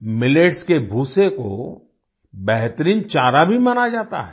millets के भूसे को बेहतरीन चारा भी माना जाता है